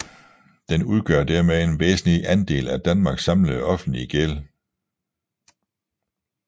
Den udgør dermed en væsentlig andel af Danmarks samlede offentlige gæld